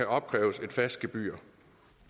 opkræves et fast gebyr